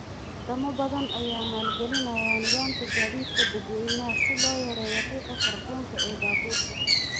Wadamo badan ayaa maalgelinaya nidaamka gaadiidka dadweynaha si loo yareeyo qiiqa kaarboonka ee baabuurta.